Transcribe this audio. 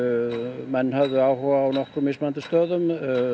menn höfðu áhuga á nokkrum mismunandi stöðum